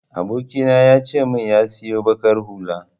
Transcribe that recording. Abokina ya ce min ya siyo baƙar hula.